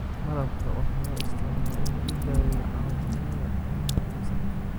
Malabka waxaa loo isticmaalaa in lagu daweeyo caabuqyada cunaha iyo sanka.